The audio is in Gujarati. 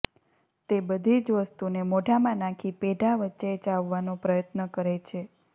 તે બધી જ વસ્તુને મોઢામાં નાખી પેઢા વચ્ચે ચાવવાનો પ્રયત્ન કરે છે